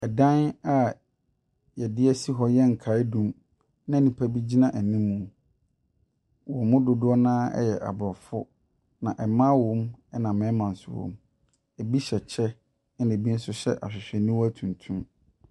Ɛdan a yɛadesi hɔ ɛyɛ nkaeɛdum a nnipa bi gyina anim mu. Wɔn mu dodoɔ noa yɛ abrɔfo. Mmaa wɔ mu ɛna mmarima nso wɔ mu. Ebi hyɛ kyɛ ɛna ebi nso hyɛ ahwehwɛniwa tuntum.